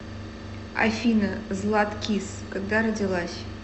афина златкис когда родилась